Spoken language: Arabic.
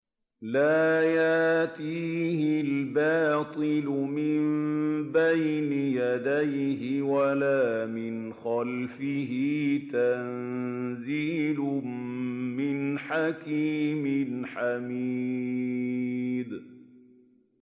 لَّا يَأْتِيهِ الْبَاطِلُ مِن بَيْنِ يَدَيْهِ وَلَا مِنْ خَلْفِهِ ۖ تَنزِيلٌ مِّنْ حَكِيمٍ حَمِيدٍ